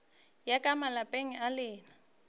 ya ka malapeng a lena